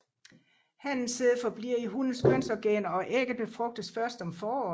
Hannens sæd forbliver i hunnens kønsorganer og ægget befrugtes først om foråret